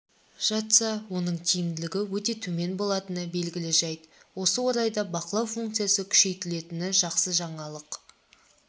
жатса оның тиімділігі өте төмен болатыны белгілі жәйт осы орайда бақылау функциясы күшейтілетіні жақсы жаңалық